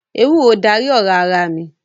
Ewúro darí ọ̀rá ara mi